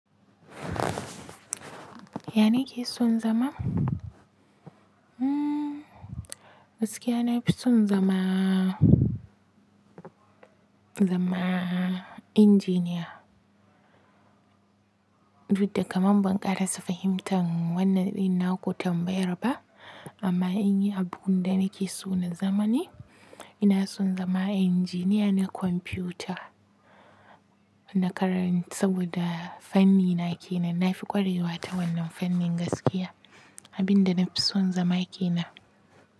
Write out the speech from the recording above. Yana keson zama Mm gaskiya na fi son zama, zama engineer. Duk da kamam ban ƙarasa fahimta wannan innaku tambayar ba amma in yi abunda nake so na zama ne, ina son zama engineer na computer na karanta saboda fannina kenan. Na fi ƙwarewa ta wannan fannin gaskiya. Abinda nafison zama kenan.